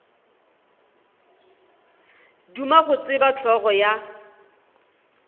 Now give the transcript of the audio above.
duma go tseba hlogo ya